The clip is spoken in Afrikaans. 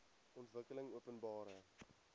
ontwikkelingopenbare